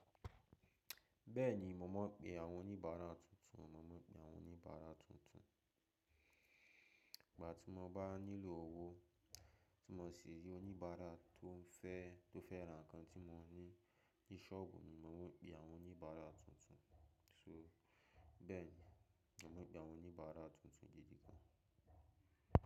Bẹ́ẹ̀ni, mo máa ń pe àwọn oníbàárà tuntun. Mo máa ń pe àwọn oníbàárà tuntun. Ìgbà tí mo bá nílò owó tí mo sì rí oníbàárà tó fẹ́, tó fẹ́ ra nǹkan tí mo ní ní shop, ni mo máa ń pe àwọn oníbàárà tuntun. So bẹ́ẹ̀ni, mo máa ń pe àwọn oníbàárà tuntun gidi gan.